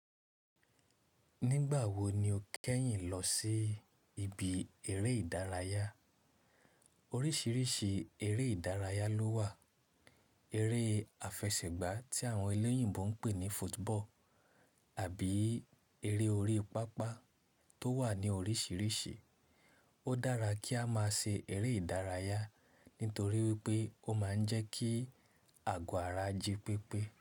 Nígbà wo ni o kẹ́yìn lọ sí ibi eré ìdárayá? Oríṣiríṣi eré ìdárayá ló wà. Eré àfẹsẹ̀gbá tí àwọn elẹ́yìnbo ń pè ní football àbí eré orí pápá tó wà ní oríṣiríṣi. Ó dára kí a má ṣe eré ìdárayá n torí wípé ó má ń jẹ́ kí àgọ̀ ara jipépé.